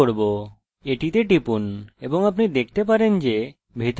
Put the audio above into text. এটিতে টিপুন এবং আপনি দেখতে পারেন যে ভিতরে কয়েকটি টেবিল আছে